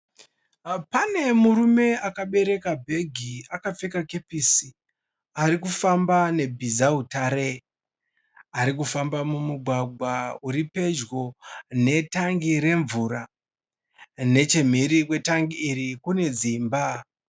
Pane murume akabereka bhegi akapfeka kepesi ari kufamba nebhizautare. Ari kufamba mumugwagwa uri pedyo netangi remvura. Nechemhiri kwetangi iri kune dzimba